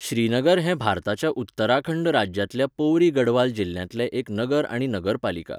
श्रीनगर हें भारताच्या उत्तराखंड राज्यांतल्या पौरी गढवाल जिल्ल्यांतलें एक नगर आनी नगरपालिका.